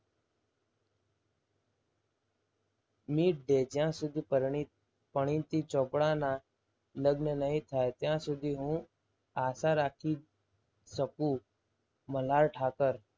મીત દઈ જ્યાં સુધી પરિણીત પરિણીતી ચોપડાના લગ્ન નહીં થાય ત્યાં સુધી હું આશા રાખીશ શકું મલ્હાર ઠાકર.